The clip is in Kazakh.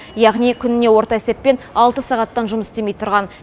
яғни күніне орта есеппен алты сағаттан жұмыс істемей тұрған